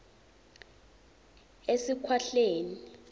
esikhwahlane